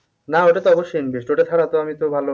না ওটা তো অবশ্যই invest ওটা ছাড়া তো আমি তো ভালো